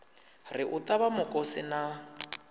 ri u ṱavha mukosi na